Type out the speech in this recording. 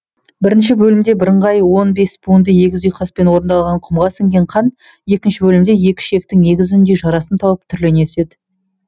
бірінші бөлімде бірыңғай он бес буынды егіз ұйқаспен орындалған құмға сіңген қан екінші бөлімде екі ішектің егіз үніндей жарасым тауып түрлене түседі